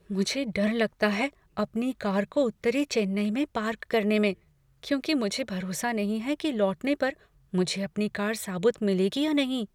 मुझे डर लगता है अपनी कार को उत्तरी चेन्नई में पार्क करने में क्योंकि मुझे भरोसा नहीं है कि लौटने पर मुझे अपनी कार साबुत मिलेगी या नहीं।